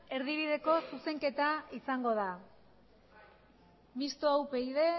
erdibideko zuzenketa izango da mistoa upyd